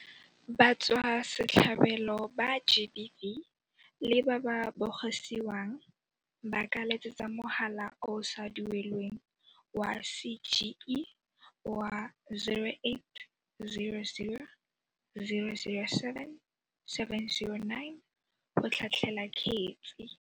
Batswasetlhabelo ba GBV le ba ba bogisiwang ba ka letsetsa mogala o o sa duelelweng wa CGE wa 0800 007 709 go tlhatlhela kgetse.